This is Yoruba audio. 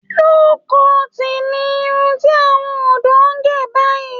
Low-cut ni irun tí àwọn ọ̀dọ́ ń gẹ̀ báyìí